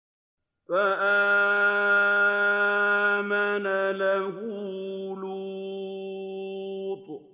۞ فَآمَنَ لَهُ لُوطٌ ۘ